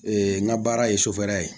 n ka baara ye sofɛri ye